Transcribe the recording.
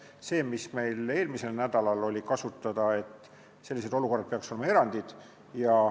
Selline olukord, mis meil eelmisel nädalal kasutada oli, peaks olema erand.